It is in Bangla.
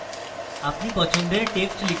আপনি পছন্দের যে কোনো text লিখতে পারেন